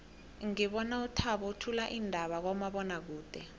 ngibona uthabo uthula iindaba kumabonwakude